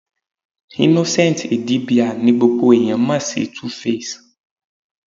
Innocent Idibia ni gbogbo ẹ̀yán mọ̀ sí Tuface.